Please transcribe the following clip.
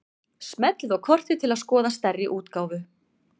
Smellið á kortið til að skoða stærri útgáfu.